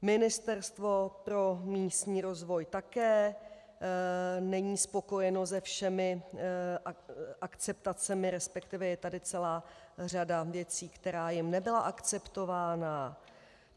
Ministerstvo pro místní rozvoj také není spokojeno se všemi akceptacemi, respektive je tady celá řada věcí, která jim nebyla akceptována.